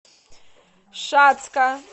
шацка